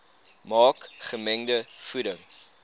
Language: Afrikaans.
maak gemengde voeding